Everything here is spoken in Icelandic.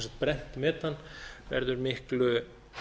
brennt metan verður miklu